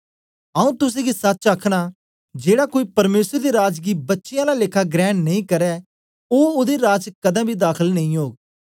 आऊँ तुसेंगी सच आखना जेड़ा कोई परमेसर दे राज गी बच्चें आला लेखा ग्रहण नेई करै ओ ओदे राज च कदें बी दाखल नेई ओग